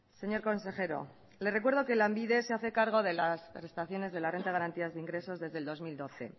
señor consejero le recuerdo que lanbide se hace cargo de las prestaciones de la renta de garantía de ingresos desde el dos mil doce